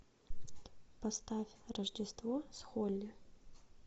поставь рождество с холли